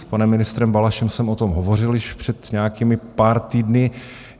S panem ministrem Balašem jsem o tom hovořil již před nějakými pár týdny.